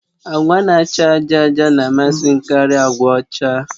Agwa na-acha àjà àjà na-amasị m karịa agwa ọcha